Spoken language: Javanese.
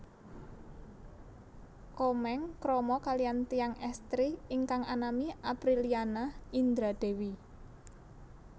Komeng krama kaliyan tiyang estri ingkang anami Aprilliana Indra Dewi